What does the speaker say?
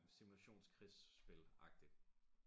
Simulationskrigsspil agtig